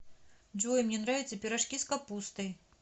джой мне нравятся пирожки с капустой